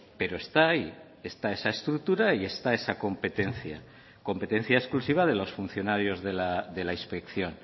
pero está ahí está esa estructura y está esa competencia competencia exclusiva de los funcionarios de la inspección